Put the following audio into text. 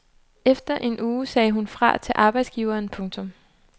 Efter en uge sagde hun fra til arbejdsgiveren. punktum